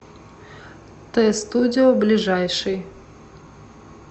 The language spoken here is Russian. т студио ближайший